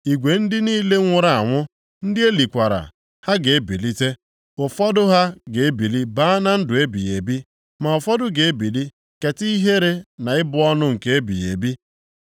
Igwe ndị niile nwụrụ anwụ, ndị e likwara, ha ga-ebilite. Ụfọdụ ha ga-ebili baa na ndụ ebighị ebi, ma ụfọdụ ga-ebili keta ihere na ịbụ ọnụ nke ebighị ebi.